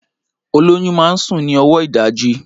Olóyún máa ń sùn ní ọwọ ìdajì